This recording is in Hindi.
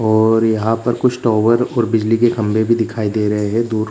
और यहाँ कुछ टॉवर और कुछ बिजली के खम्बे भी दिखाई दे रहें हैं दूर --